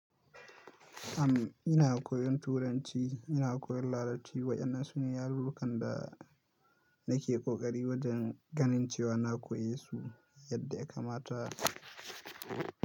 Am, ina koyon Turanci, ina koyon Larabci. Waɗannan su ne yarurrukan da nake ƙoƙari wajen ganin cewa na koyesu yadda ya kamata.